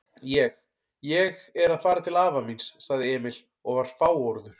Ég. ég er að fara til afa míns, sagði Emil og var fáorður.